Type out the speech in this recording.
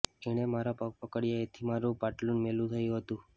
એણે મારા પગ પકડ્યા એથી મારું પાટલૂન મેલું થયું હતું